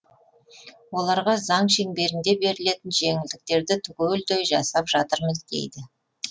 оларға заң шеңберінде берілетін жеңілдіктерді түгелдей жасап жатырмыз дейді